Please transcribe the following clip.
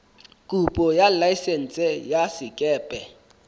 kopo ya laesense ya sekepe